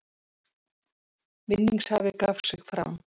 Vinningshafi gaf sig fram